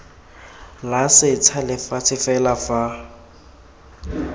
la setsha lefatshe fela fa